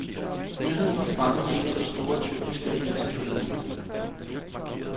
Nyheden var fremme i en af de store, tyrkiske aviser forleden.